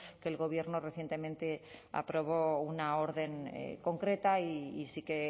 que el gobierno recientemente aprobó una orden concreta y sí que